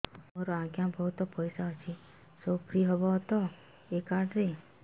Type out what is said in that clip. ମୋର ଆଜ୍ଞା ବହୁତ ପଇସା ଅଛି ସବୁ ଫ୍ରି ହବ ତ ଏ କାର୍ଡ ରେ